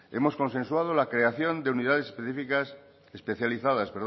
hemos consensuado la creación de unidades especializadas